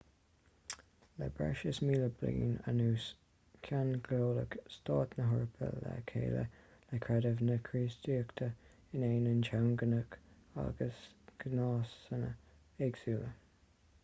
le breis is míle bliain anuas ceanglaíodh stáit na heorpa le chéile le creideamh na críostaíochta in ainneoin teangacha agus gnásanna éagsúla